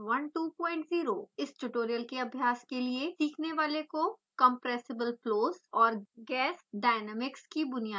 इस ट्यूटोरियल के अभ्यास के लिए सीखने वाले को compressible flows और gas dynamics की बुनियादी जानकारी होनी चाहिए